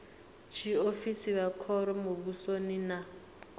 tshiofisi vha khoro muvhusoni na